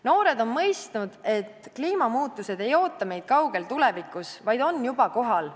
Noored on mõistnud, et kliimamuutused ei oota meid kaugel tulevikus, vaid on juba kohal.